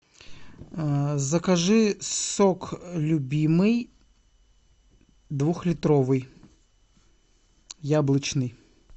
закажи сок любимый двухлитровый яблочный